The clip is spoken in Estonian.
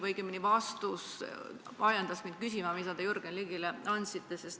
Õigemini ajendas mind küsima vastus, mille te Jürgen Ligile andsite.